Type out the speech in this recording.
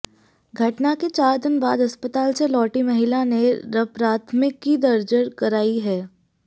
घटना के चार दिन बाद अस्पताल से लौटी महिला ने रप्राथमिकी दर्ज कराई है